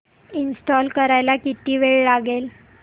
install करायला किती वेळ लागेल